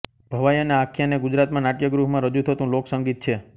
ભવાઈ અને આખ્યાન એ ગુજરાતમાં નાટ્યગૃહમાં રજૂ થતું લોકસંગીત છે